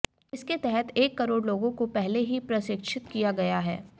इसके तहत एक करोड़ लोगों को पहले ही प्रशिक्षित किया गया है